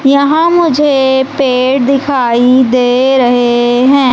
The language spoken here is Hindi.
यहां मुझे पेड़ दिखाई दे रहें हैं।